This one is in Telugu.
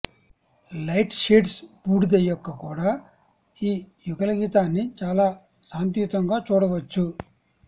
లైట్ షేడ్స్ బూడిద యొక్క కూడా ఈ యుగళగీతాన్ని చాలా శాంతియుతంగా చూడవచ్చు